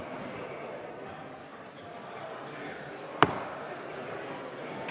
Istungi lõpp kell 14.09.